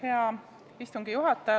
Hea istungi juhataja!